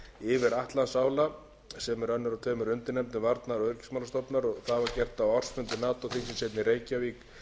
yfir atlantsála sem er önnur af tveimur undirnefndum varnar og öryggismálastofnunar það var gert á ársfundi nato þingsins hérna í reykjavík í